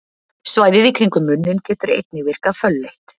Svæðið í kringum munninn getur einnig virkað fölleitt.